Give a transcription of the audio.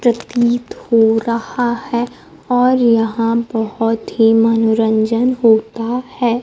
प्रतीत हो रहा है और यहां बहोत ही मनोरंजन होता है।